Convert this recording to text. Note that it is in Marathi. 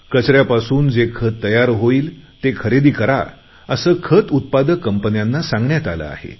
कचऱ्यापासून जे खत तयार होईल ते खरेदी करा असे खत उत्पादक कंपन्यांना सांगण्यात आले आहे